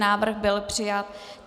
Návrh byl přijat.